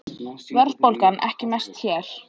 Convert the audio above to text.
Verðbólgan ekki mest hér